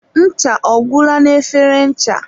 ncha ọ gwụla na efere ncha?